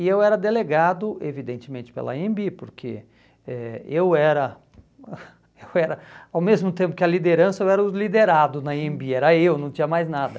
E eu era delegado, evidentemente, pela anhembi, porque eh eu era, eu era, ao mesmo tempo que a liderança, eu era o liderado na anhembi, era eu, não tinha mais nada.